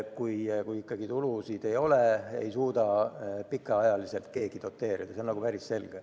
Kui ikka tulusid ei ole, siis ei suuda keegi neid pikaajaliselt doteerida, see on päris selge.